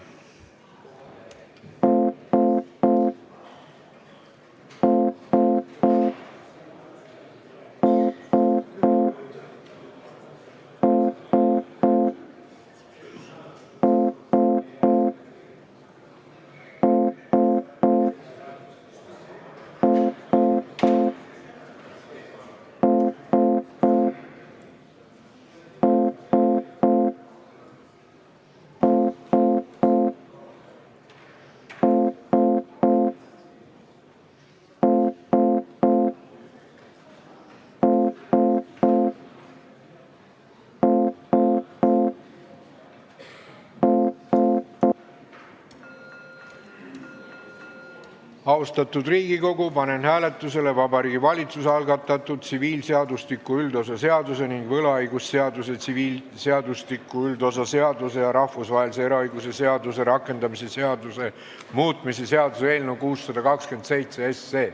Austatud Riigikogu, panen hääletusele Vabariigi Valitsuse algatatud tsiviilseadustiku üldosa seaduse ning võlaõigusseaduse, tsiviilseadustiku üldosa seaduse ja rahvusvahelise eraõiguse seaduse rakendamise seaduse muutmise seaduse eelnõu 627.